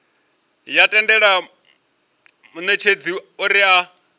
ya tendela munetshedzi uri a